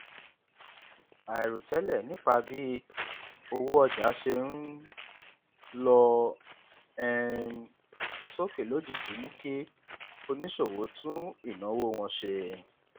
àìròtẹlẹ nípa bí iye owó ọjà ṣe ń lọ um sókè lójijì mú kí oníṣòwò tún ìnáwó wọn ṣe